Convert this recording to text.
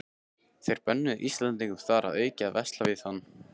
Þeir bönnuðu Íslendingum þar að auki að versla við hann.